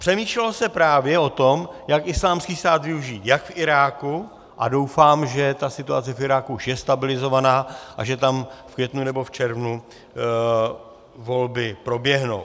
Přemýšlelo se právě o tom, jak Islámský stát využít jak v Iráku - a doufám, že ta situace v Iráku už je stabilizovaná a že tam v květnu nebo v červnu volby proběhnou.